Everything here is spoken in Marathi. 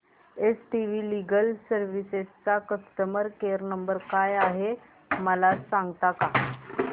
एस वी लीगल सर्विसेस चा कस्टमर केयर नंबर काय आहे मला सांगता का